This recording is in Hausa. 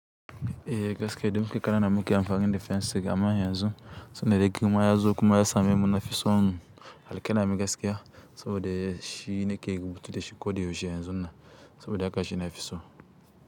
Eh gaskiya, da muke ƙanana muke amfani da fensir amma yanzu, tunda dai girma yazo kuma ya same muna fi son alƙalami gaskiya saboda shi ne ke rubutu da shi ko da yaushe yanzun nan saboda haka shi ne fiso.